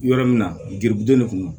Yɔrɔ min na giribuden de kun don